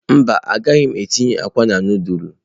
Mba, agaghị m etinye akwa na nudulu.